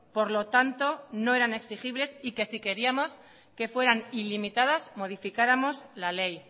por lo tanto no eran exigibles y que si queríamos que fueran ilimitadas modificáramos la ley